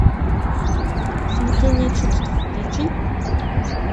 смятение чувств включи